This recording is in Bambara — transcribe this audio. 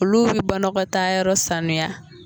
Olu bi banakɔtayɔrɔ sanuya